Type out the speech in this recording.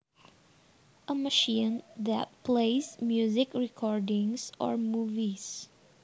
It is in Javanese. A machine that plays music recordings or movies